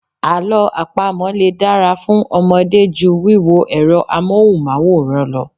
Àlọ́ àpamọ̀ lè dára fún Ọmọdé ju wíwo ẹ̀rọ Amóhùnmáwòrán lọ.